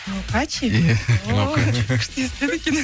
нукачи иә о күшті естіледі екен